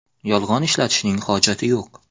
Yolg‘on ishlatishning hojati yo‘q.